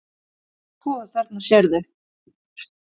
Sko, þarna sérðu.